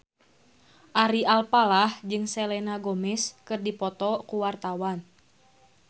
Ari Alfalah jeung Selena Gomez keur dipoto ku wartawan